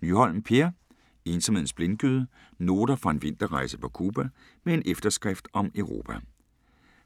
Nyholm, Per: Ensomhedens blindgyde: noter fra en vinterrejse på Cuba: med en efterskrift om Europa